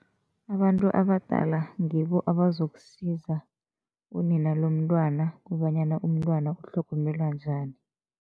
Abantu abadala ngibo abazokusiza unina lomntwana kobanyana umntwana utlhogomelwa njani.